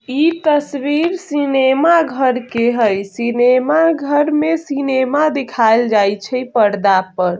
इ तस्वीर सिनेमा घर के हेय सिनेमा घर में सिनेमा दिखाइल जाय छै पर्दा पर।